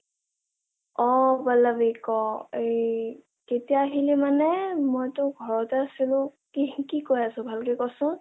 অ পল্লৱী ক ই কেতিয়া আহিলা মানে, মইটো ঘৰতে আছিলো কি কয় আছ ভালকে ক চোন